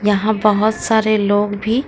यहां बहोत सारे लोग भी--